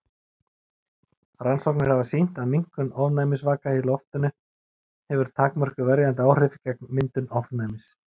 Rannsóknir hafa sýnt að minnkun ofnæmisvaka í loftinu hefur takmörkuð verjandi áhrif gegn myndun ofnæmis.